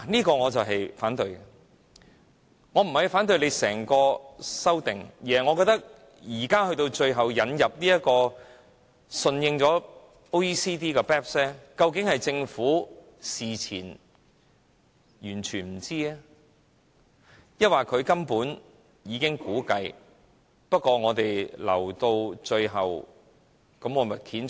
這點是我反對的，我不是反對整項修正案，而是我認為最後引入並順應 OECD 就 BEPS 的規定，究竟是政府事前全不知情，還是他們根本早有估計，但留到最後才揭盅？